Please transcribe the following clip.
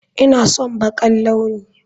Ina son baƙar launi